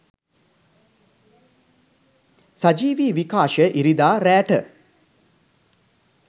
සජීවී විකාශය ඉරිදා රෑ .ට